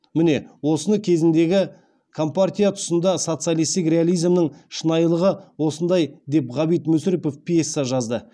міне осыны кезіндегі компартия тұсында социалистік реализмнің шынайылығы осындай деп ғабит мүсірепов пьеса жазды